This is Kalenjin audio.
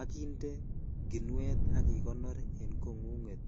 ak inde kinut ak ikonor en kongunget .